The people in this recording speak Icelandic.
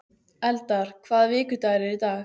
Eldar, hvaða vikudagur er í dag?